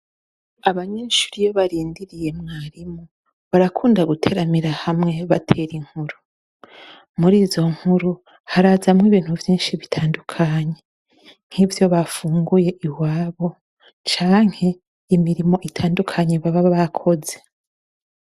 Abanyeshure iyo barindiriye mwarimu barakunda guteramira hamwe batera inkuru. Muri izo nkuru harazamwo ibintu vyinshi bitandukanye, nk'ivyo bafunguye iwabo, canke imirimo itandukanye baba bakoze.